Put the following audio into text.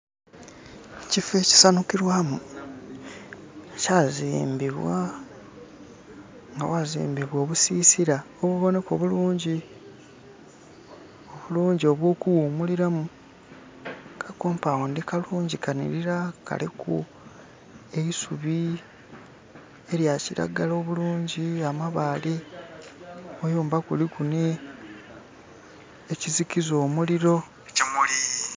Kifo kisanukirwamu kyazimbbibwa awazimbbibwa obusisira obuboneka bulungi, bulungi obwo kuwumuliramu, ka kopawundi kallungi kanhirira kaliku eisubi erya kiragala obulungi, amabale. Amayumba kuliku ni ekizikiza omuliro